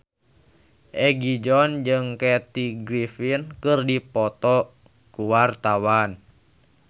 Egi John jeung Kathy Griffin keur dipoto ku wartawan